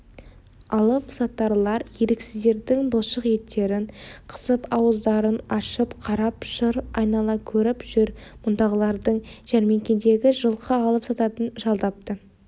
алыпсатарлар еріксіздердің бұлшық еттерін қысып ауыздарын ашып қарап шыр айнала көріп жүр мұндағылардың жәрмеңкедегі жылқы алып сататын жалдапты